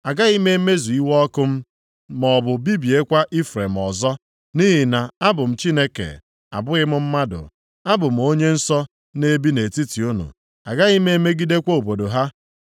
Agaghị m emezu iwe ọkụ m maọbụ bibiekwa Ifrem ọzọ. Nʼihi na abụ m Chineke, abụghị m mmadụ. Abụ m Onye Nsọ na-ebi nʼetiti unu. Agaghị m emegidekwa obodo ha.